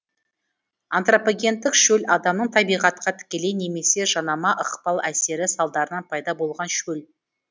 антропогендік шөл адамның табиғатқа тікелей немесе жанама ықпал әсері салдарынан пайда болған шөл